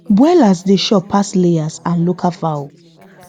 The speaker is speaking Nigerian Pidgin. broilers dey chop pass layers and local fowl